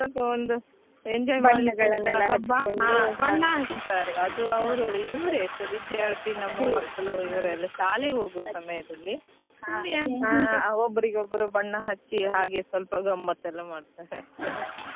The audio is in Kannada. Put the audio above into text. ಸ್ವಲ್ಪ ಒಂದು enjoy ಹಚ್ಚ್ತಾರೆ ಅದು ಇವ್ರೇ ವಿದ್ಯಾರ್ಥಿ ನಮ್ಮ ಮಕ್ಕಳು ಇವ್ರೆಲ್ಲ ಶಾಲೆ ಹೋಗುವ ಸಮಯದಲ್ಲಿ ಸುಮ್ನೆ ಒಬ್ಬರಿಗೊಬ್ಬರು ಬಣ್ಣ ಹಚ್ಚಿ ಹಾಗೆ ಸ್ವಲ್ಪ ಗಮ್ಮತ್ ಎಲ್ಲ ಮಾಡ್ತಾರೆ ಅಷ್ಟೇ.